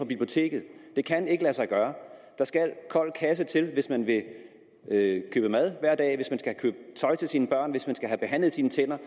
biblioteket det kan ikke lade sig gøre der skal kold kasse til hvis man vil købe mad hver dag hvis man skal købe tøj til sine børn hvis man skal have behandlet sine tænder